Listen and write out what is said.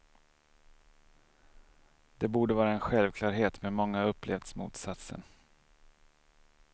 Det borde vara en självklarhet, men många har upplevt motsatsen.